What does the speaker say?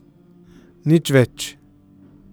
Nič več ...